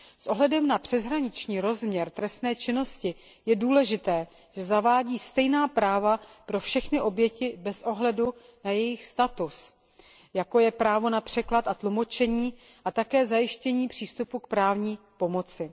S ohledem na přeshraniční rozměr trestné činnosti je důležité, že zavádí stejná práva pro všechny oběti bez ohledu na jejich status, jako je právo na překlad a tlumočení a také zajištění přístupu k právní pomoci.